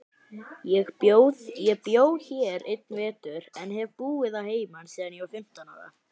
Ég bjó hér einn vetur, en hef búið að heiman síðan ég var fimmtán ára.